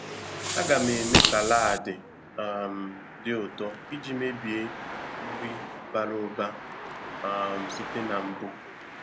A ga m eme salaadi um dị ụtọ iji mebie nri bara ụba um site na mbụ.